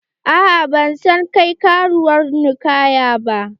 A'a ba zan kai ka ruwan ninkaya ba.